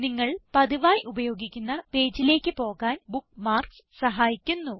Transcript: നിങ്ങൾ പതിവായി ഉപയോഗിക്കുന്ന പേജിലേക്ക് പോകാൻ ബുക്ക്മാർക്സ് സഹായിക്കുന്നു